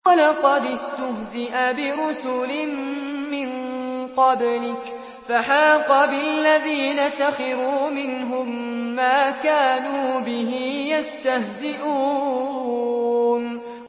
وَلَقَدِ اسْتُهْزِئَ بِرُسُلٍ مِّن قَبْلِكَ فَحَاقَ بِالَّذِينَ سَخِرُوا مِنْهُم مَّا كَانُوا بِهِ يَسْتَهْزِئُونَ